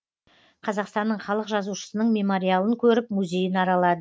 қазақстанның халық жазушысының мемориалын көріп музейін аралады